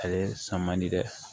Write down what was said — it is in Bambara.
Ale san man di dɛ